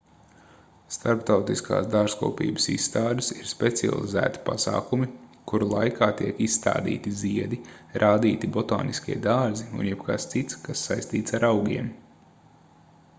starptautiskās dārzkopības izstādes ir specializēti pasākumi kuru laikā tiek izstādīti ziedi rādīti botāniskie dārzi un jebkas cits kas saistīts ar augiem